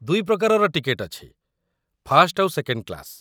ଦୁଇ ପ୍ରକାରର ଟିକେଟ୍‌ ଅଛି, ଫାର୍ଷ୍ଟ ଆଉ ସେକେଣ୍ଡ କ୍ଲାସ୍‌ ।